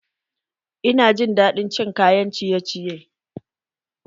Ina jin daɗin cin kayan ciye ciye